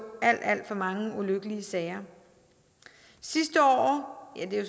alt alt for mange ulykkelige sager sidste år ja det er